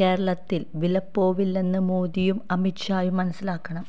കേരളത്തില് വിലപ്പോവില്ലെന്ന് മോദിയും അമിത് ഷായും മനസ്സിലാക്കണം